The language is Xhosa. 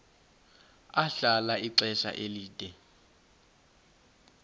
ahlala ixesha elide